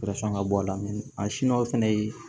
ka bɔ a la fɛnɛ ye